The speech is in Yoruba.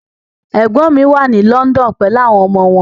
Ẹ̀gbọ́n mi wà ní London pelu àwọn ọmọ wọn.